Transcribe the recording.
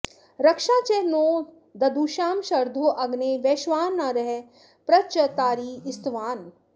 रक्षा॑ च नो द॒दुषां॒ शर्धो॑ अग्ने॒ वैश्वा॑नर॒ प्र च॑ तारीः॒ स्तवा॑नः